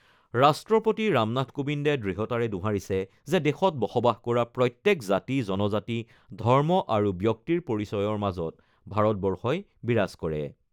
ৰাষ্ট্ৰপতি ৰামনাথ কোবিন্দে দৃঢ়তাৰে দোহাৰিছে যে দেশত বসবাস কৰা প্ৰত্যেক জাতি, জনজাতি, ধৰ্ম আৰু ব্যক্তিৰ পৰিচয়ৰ মাজত ভাৰতবৰ্ষই বিৰাজ কৰে।